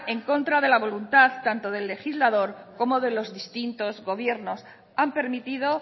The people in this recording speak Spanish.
en contra de la voluntad tanto del legislador como de los distintos gobiernos han permitido